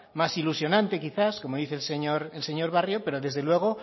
más ilusionante quizás como dice el señor barrio pero desde luego